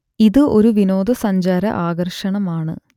ഇത് ഒരു വിനോദ സഞ്ചാര ആകർഷണമാണ്